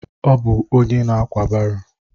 Ọ bụ onye na-ákwà baro.